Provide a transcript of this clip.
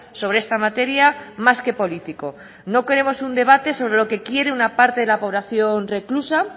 sobre esta materia más que político no queremos un debate sobre lo que quiere una parte de la población reclusa